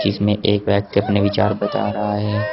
इसमें एक व्यक्ति अपने विचार बता रहा है।